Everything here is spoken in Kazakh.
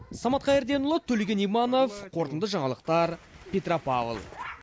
самат қайырденұлы төлеген иманов қорытынды жаңалықтар петропавл